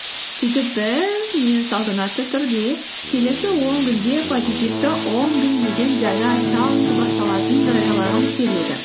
сөйтіп біз мен салтанатты түрде келесі он күнге позитивті он күн деген жаңа чаллендж басталатынын жариялағым келеді